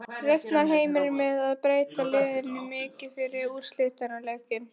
Reiknar Heimir með að breyta liðinu mikið fyrir úrslitaleikinn?